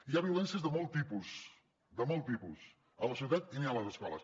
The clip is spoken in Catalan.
hi ha violències de molt tipus de molt tipus a la ciutat i n’hi ha a les escoles